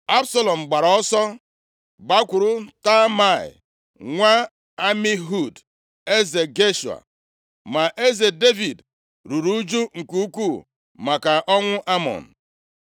Absalọm gbara ọsọ gbakwuru Talmai nwa Amihud, eze Geshua. Ma eze Devid ruru ụjụ nke ukwuu maka ọnwụ Amnọn.